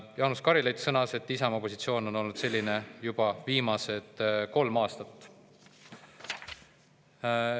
Jaanus Karilaid sõnas, et Isamaa positsioon on olnud selline juba viimased kolm aastat.